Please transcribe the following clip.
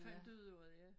Fandt ud af det ja